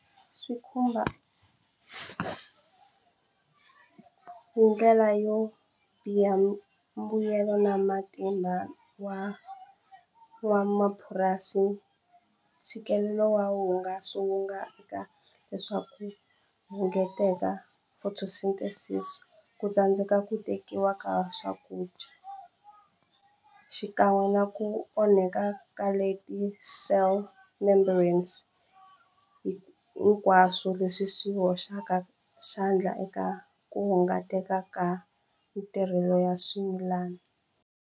Swi khumba ku hi ndlela yo biha mbuyelo na matimba wa wa mapurasi ntshikelelo wa hungaso wu nga leswaku hunguteka photosynthesis ku tsandzeka ku tekiwa ka swakudya xikan'we na ku onhaka ka cell membranes hi hinkwaswo leswi swi hoxaka xandla eka ku hunguteka ka matirhelo ya swimilana.